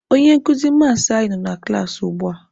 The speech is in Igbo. Onye nkuzi maasị anyị nọ na klaasị ugbua.